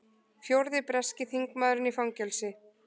Fjórði breski þingmaðurinn í fangelsi